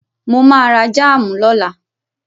Mo ma ra jáàmù lọ́la